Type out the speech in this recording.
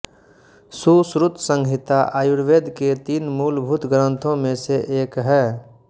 सुश्रुतसंहिता आयुर्वेद के तीन मूलभूत ग्रन्थों में से एक है